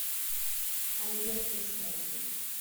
альберт яшмолкин